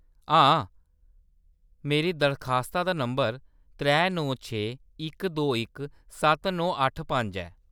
हां, मेरी दरखास्ता दा नंबर त्रै नौ छे इक दो इक सत्त नौ अट्ठ पंज ऐ।